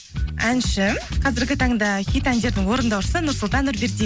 әнші қазіргі таңда хит әндердің орындаушысы нұрсұлтан